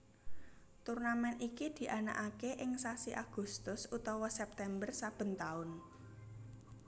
Turnamèn iki dianakaké ing sasi Agustus utawa September saben taun